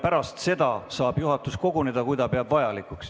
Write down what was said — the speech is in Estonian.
Pärast seda saab juhatus koguneda, kui ta peab vajalikuks.